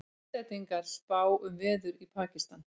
Íslendingar spá um veður í Pakistan